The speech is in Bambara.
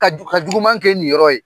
Ka ka juguman kɛ i niyɔrɔ ye.